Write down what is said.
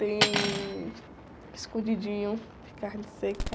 Tem escondidinho de carne seca.